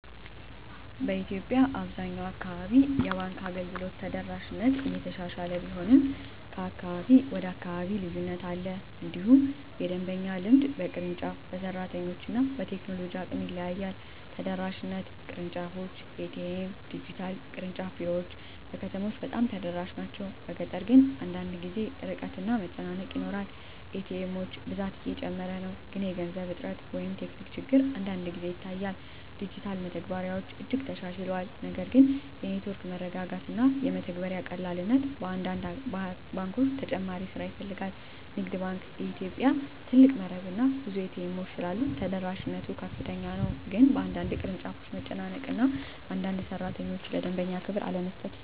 በኢትዮጵያ አብዛኛው አካባቢ የባንክ አገልግሎት ተደራሽነት እየተሻሻለ ቢሆንም ከአካባቢ ወደ አካባቢ ልዩነት አለ። እንዲሁም የደንበኛ ልምድ በቅርንጫፍ፣ በሰራተኞች እና በቴክኖሎጂ አቅም ይለያያል። ተደራሽነት (ቅርንጫፎች፣ ኤ.ቲ.ኤም፣ ዲጂታል) ቅርንጫፍ ቢሮዎች በከተሞች በጣም ተደራሽ ናቸው፤ በገጠር ግን አንዳንድ ጊዜ ርቀት እና መጨናነቅ ይኖራል። ኤ.ቲ. ኤሞች ብዛት እየጨመረ ነው፣ ግን የገንዘብ እጥረት ወይም ቴክኒክ ችግር አንዳንድ ጊዜ ይታያል። ዲጂታል መተግበሪያዎች እጅግ ተሻሽለዋል፣ ነገር ግን የኔትወርክ መረጋጋት እና የመተግበሪያ ቀላልነት በአንዳንድ ባንኮች ተጨማሪ ስራ ይፈልጋል። ንግድ ባንክ ኢትዮጵያ (CBE) ትልቅ መረብ እና ብዙ ኤ.ቲ. ኤሞች ስላሉት ተደራሽነት ከፍተኛ ነው፤ ግን በአንዳንድ ቅርንጫፎች መጨናነቅ እና አንዳንድ ሠራተኞች ለደንበኛ ክብር አለመስጠት